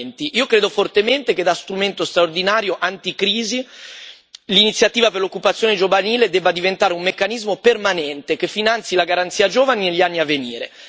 2020. Io credo fortemente che da strumento straordinario anticrisi l'Iniziativa per l'occupazione giovanile debba diventare un meccanismo permanente, che finanzi la Garanzia giovani negli anni a venire.